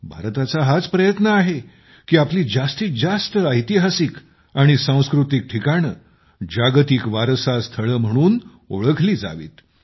भारताचा हाच प्रयत्न आहे की आपली जास्तीत जास्त ऐतिहासिक आणि सांस्कृतिक ठिकाणे जागतिक वारसा स्थळे म्हणून ओळखली जावीत